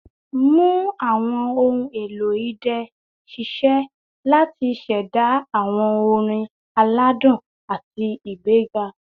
Mu awọn ohun elo idẹ ṣiṣẹ lati ṣẹda awọn orin aladun ati igbega